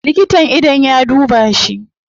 Likitan idon ya duba shi